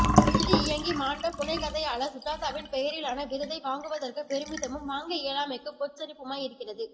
எழுதி இயங்கி மாண்ட புனைகதையாளர் சுஜாதாவின் பெயரிலான விருதை வாங்குவதற்கு பெருமிதமும் வாங்க இயலாமைக்கு பொச்சரிப்புமாய் இருக்கிறது